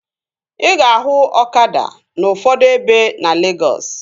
Ị ga-ahụ ọkada n'ufodu ebe na Legọs